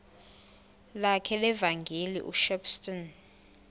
lakhe levangeli ushepstone